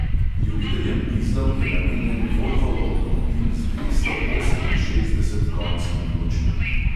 Ljubiteljem dizlov je namenjen volvov avtomobil z dvesto oseminšestdeset konjskimi močmi.